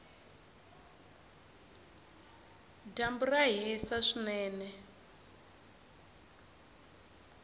dyambu ra hisa swinene